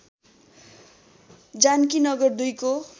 जानकीनगर २ को